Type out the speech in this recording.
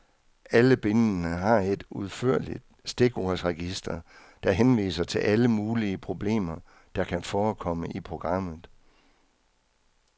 Alle bindene har et udførligt stikordsregister, der henviser til alle mulige problemer, der kan forekomme i programmet.